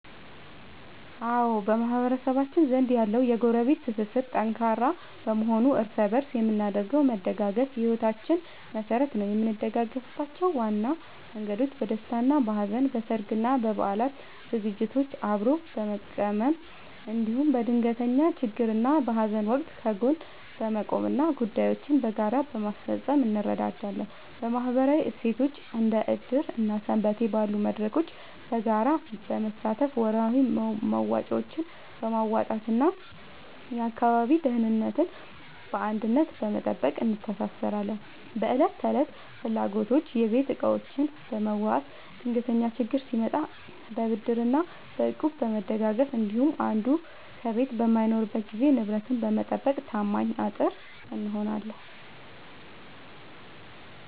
አዎ፣ በማህበረሰባችን ዘንድ ያለው የጎረቤት ትስስር ጠንካራ በመሆኑ እርስ በእርስ የምናደርገው መደጋገፍ የሕይወታችን መሠረት ነው። የምንደጋገፍባቸው ዋና መንገዶች፦ በደስታና በሐዘን፦ በሠርግና በበዓላት ዝግጅቶችን አብሮ በመቀመም፣ እንዲሁም በድንገተኛ ችግርና በሐዘን ወቅት ከጎን በመቆምና ጉዳዮችን በጋራ በማስፈጸም እንረዳዳለን። በማኅበራዊ እሴቶች፦ እንደ ዕድር እና ሰንበቴ ባሉ መድረኮች በጋራ በመሳተፍ፣ ወርሃዊ መዋጮዎችን በማዋጣትና የአካባቢን ደህንነት በአንድነት በመጠበቅ እንተሳሰራለን። በዕለት ተዕለት ፍላጎቶች፦ የቤት ዕቃዎችን በመዋዋስ፣ ድንገተኛ ችግር ሲመጣ በብድርና በእቁብ በመደጋገፍ እንዲሁም አንዱ ከቤት በማይኖርበት ጊዜ ንብረትን በመጠባበቅ ታማኝ አጥር እንሆናለን።